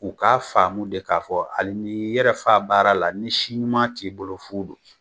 U k'a faamu de k'a fɔ ali ni y'i yɛrɛfa baara la ni si ɲuman t'i bolo fu do